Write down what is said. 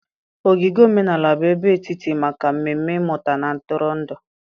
Ogige Omenala bụ ebe etiti maka mmemme mmụta na ntụrụndụ.